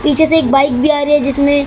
पीछे से एक बाइक भी आ रही है जिसमे--